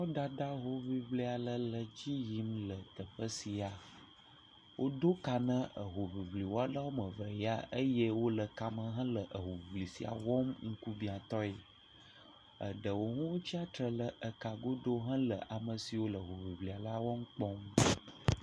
Kɔdada hoŋiŋli aɖe le edzi yim le teƒe sia. Wodo ka hoŋiŋliwɔla woame eve ya eye wole kame hele hoŋiŋli sia wɔm ŋkubiãtɔe. Eɖewo tsia tre ɖe eka godo hele ame siawo le hoŋiŋlia la wɔm kpɔm.